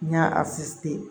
N y'a